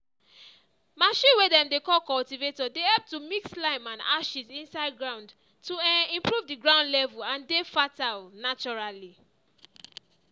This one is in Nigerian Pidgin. machine way dem dey call cultivator dey help to mix lime and ashes inside ground to um improve the ground level and dey fertile naturally.